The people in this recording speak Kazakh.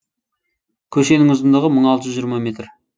көшенің ұзындығы мың алты жүз жиырма метр